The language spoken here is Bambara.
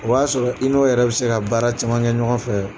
O b'a sɔrɔ i n'o yɛrɛ bɛ se ka baara caman kɛ ɲɔgɔn fɛ